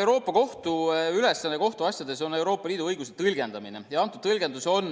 Euroopa Kohtu ülesanne kohtuasjades on Euroopa Liidu õiguse tõlgendamine ja antud tõlgendus on